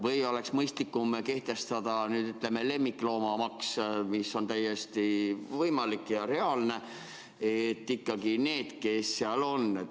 Või oleks mõistlikum kehtestada lemmikloomamaks, mis on täiesti võimalik ja reaalne?